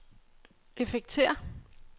effekter